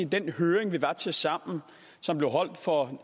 den høring vi var til sammen som blev holdt for